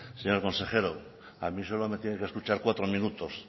señor consejero a mí solo me tiene que escuchar cuatro minutos